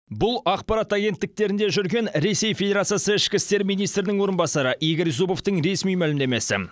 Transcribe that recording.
бұл ақпарат агенттіктерінде жүрген ресей федерациясы ішкі істер министрінің орынбасары игорь зубовтың ресми мәлімдемесі